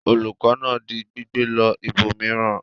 Olùkọ́ náà di gbígbẹ lọ ibòmíràn?